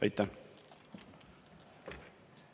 Aitäh!